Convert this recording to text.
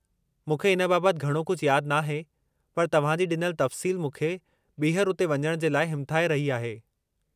मूंखे इन बाबति घणो कुझु यादि नाहे, पर तव्हांजी ॾिनल तफ़्सील मूंखे ॿीहरु उते वञण जे लाइ हिमथाइ रही आहे।